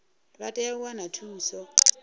vha tea u wana thuso